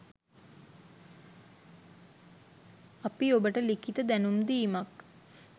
අපි ඔබට ලිඛිත දැනුම් දීමක්